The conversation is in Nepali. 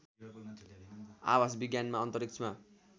आवास विज्ञानमा अन्तरिक्षमा